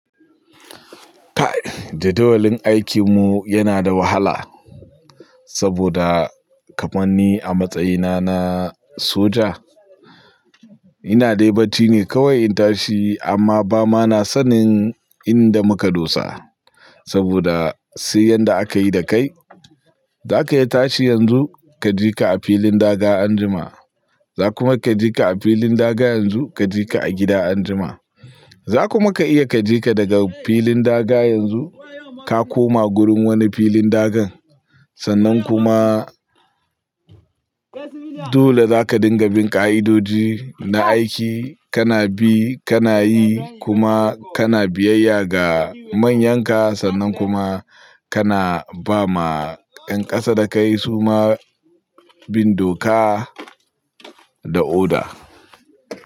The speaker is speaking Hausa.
Kai jadawalin aikinmu yana da wahala saboda kamanni a matsayina na soja. Ina dai bacci ne kawai in tashi amma ba ma na sanin inda muka dosa saboda sai yanda aka yi dakai. Zaka iya tashi yanzu kaji ka a filin daga anjima, za kuma kaji ka a filin daga yanzu kaji ka a gida anjima. Za kuma ka iya kaji ka daga filin daga yanzu ka koma gurin wani filin dagan. Sannan kuma dole zaka dinga bin ka'idoji na aiki kana bi, kana yi kuma kana biyayya ga manyanka sannan kuma kana ba ma yan ƙasa dakai su ma bindoka da oda.